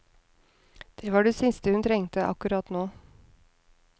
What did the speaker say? Det var det siste hun trengte, akkurat nå.